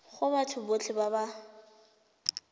go batho botlhe ba ba